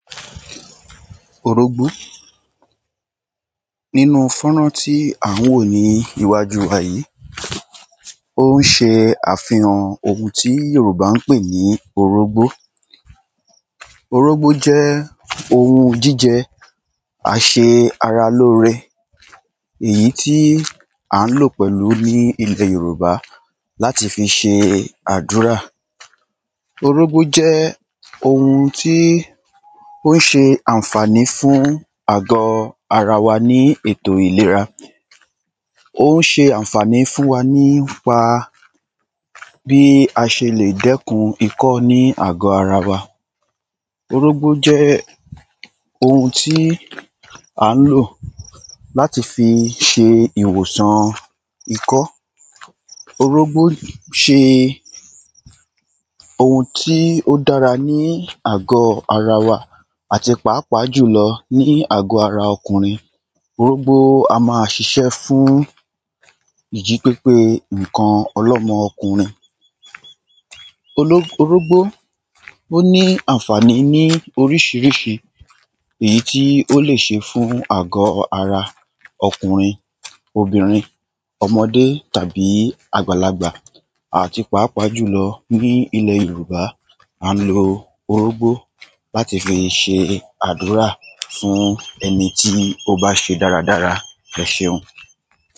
orógbó, nínu fónrán tí à ń wò níwájú wà yí, ó ń se àfihàn oun tí Yorùbá ń pè ní orógbó, orógbó jẹ́ oun jíjẹ àsẹ ara lóre, èyí tí à ń lò pẹ̀lú ní ilẹ̀ Yorùbá láti fi se àdúrà, orógbó jẹ́ oun tí ó ń se ànfàní fún àgọ́-ara wa ní ètò ìlera, ó ń se ànfàní fún wa nípa bí a se lè dẹ́kun ikọ́ ní àgọ́ ara wa, orógbó jẹ́ oun tí à ń lò láti fi se ìwòsàn ikọ́, orógbó se oun tí ó dára ní àgọ́ ara wa, àti páàpáà jùlọ ní àgọ́ ara ọkùnrin, orógbó á ma sisẹ́ fún ìjí pépé ǹkan ọlọ́mọ kùnrin, oró, orógbó ó ní ànfàní ní orísirísi èyí tí ó lè se fún àgọ́ ara ọkùnrin, obìnrin, ọmọdé tàbí àgbàlagbà àti páàpáà jùlọ ní ilẹ̀ Yorùbá à ń lo orógbó láti fi se àdúrà fún ẹnití ó ń bá se dáradára. ẹseun.